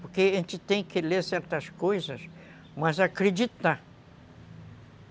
Porque a gente tem que ler certas coisas, mas acreditar.